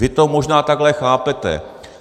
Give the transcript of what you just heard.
Vy to možná takhle chápete.